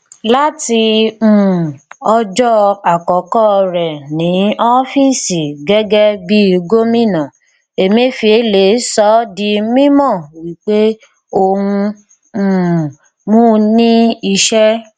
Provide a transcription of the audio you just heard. láti um ọjọ àkọkọ rẹ ní oofiisi gẹgẹ bí gómìnà emefiele sọ di mímọ wípé òun um mú ní iṣẹ